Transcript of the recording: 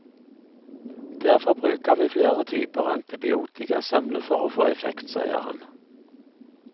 Derfor bruker vi flere typer antibiotika samlet for å få effekt, sier han.